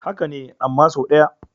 Haka ne, amma sau ɗaya.